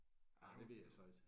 Ah det ved jeg så ikke